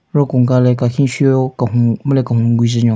Ro kunka le kakhin shü-o kehun men le kehun gue jhe nyo.